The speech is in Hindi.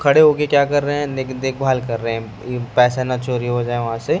खड़े होके क्या कर रहे हैं देखभाल कर रहे हैं पैसा ना चोरी हो जाए वहां से--